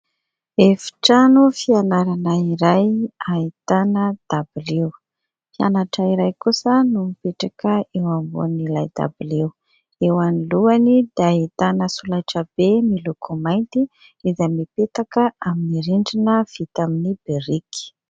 Efitrano fianarana iray ahitana dabilio; mpianatra iray kosa no mipetraka eo ambonin'ilay dabilio. Eo anoloany dia ahitana solaitra be miloko mainty izay mipetraka amin'ny rindrina vita amin'ny biriky.